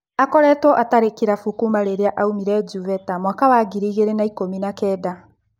Akoretwo atarĩ kĩrabu kuuma rĩrĩa aumire Juveta mwaka wa ngiri igĩrĩ na ikũmi-na-kenda.